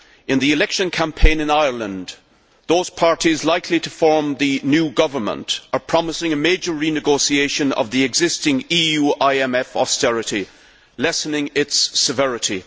In the election campaign in Ireland, those parties likely to form the new government are promising a major renegotiation of the existing EU IMF austerity plan, lessening its severity.